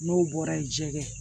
N'o bɔra ye jɛgɛ